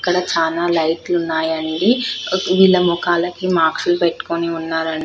ఇక్కడ చాలా లైట్లు ఉన్నాయి అండి వీళ్ళ ముఖాలాకి మాస్కులు పెట్టుకొని ఉన్నారండి --